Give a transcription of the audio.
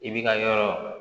I bi ka yɔrɔ